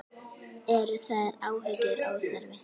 Eru þær áhyggjur óþarfi?